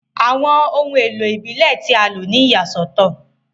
Awọn ohun elo ibile ti a lo ni iyasọtọ.